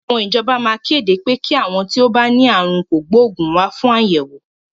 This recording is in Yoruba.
Àwọn ìjọba maa kéde pé kí àwọn tí ó bá ní àrùn kògbóògùn wá fún àyẹ̀wò.